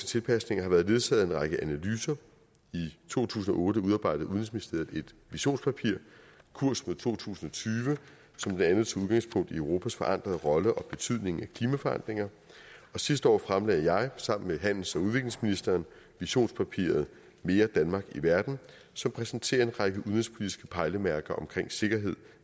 tilpasninger har været ledsaget af en række analyser i to tusind og otte udarbejdede udenrigsministeriet et visionspapir kurs mod to tusind og tyve som blandt andet tog udgangspunkt i europas forandrede rolle og betydningen af klimaforandringer og sidste år fremlagde jeg sammen med handels og udviklingsministeren visionspapiret mere danmark i verden som præsenterer en række udenrigspolitiske pejlemærker omkring sikkerhed